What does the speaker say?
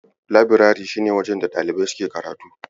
Labirari shi ne wajen da ɗalibai suke karatu.